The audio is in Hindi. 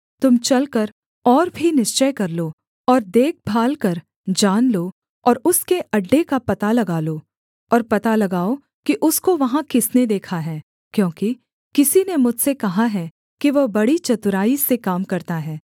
तुम चलकर और भी निश्चय कर लो और देखभाल कर जान लो और उसके अड्डे का पता लगा लो और पता लगाओ कि उसको वहाँ किसने देखा है क्योंकि किसी ने मुझसे कहा है कि वह बड़ी चतुराई से काम करता है